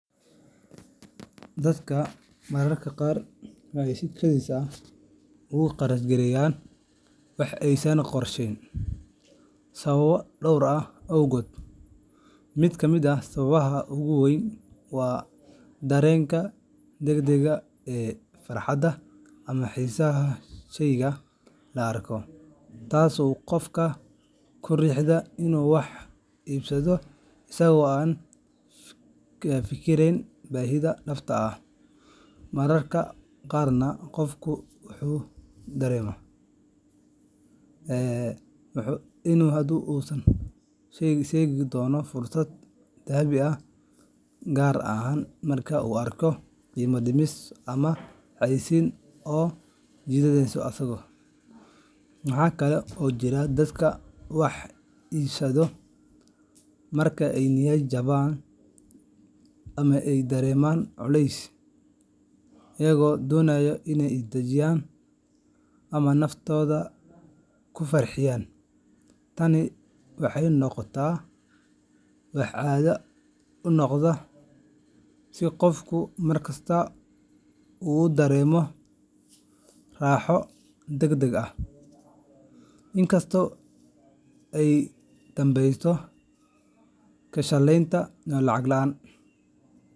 Dadka mararka qaar waxay si kedis ah ugu kharash gareeyaan wax aysan qorsheyn sababo dhowr ah awgood. Mid ka mid ah sababaha ugu waaweyn waa dareenka degdegga ah ee farxadda ama xiisaha sheyga la arko, taas oo qofka ku riixda inuu wax iibsado isagoo aan ka fikirin baahida dhabta ah. Mararka qaarna qofku wuxuu dareemaa in haddii uusan hadda iibsan, uu seegi doono fursad dahabi ah, gaar ahaan marka uu arko qiimo dhimis ama xayaysiis soo jiidasho leh. Waxaa kale oo jira dadka wax iibsada marka ay niyad-jabsan yihiin ama ay dareemayaan culays, iyagoo doonaya inay is dajiyaan ama naftooda ku farxiyaan. Tani waxay noqotaa wax caado u noqda, si qofku markasta u dareemo raaxo degdeg ah, in kastoo ay ka dambayso ka shallaynta iyo lacag la’aan.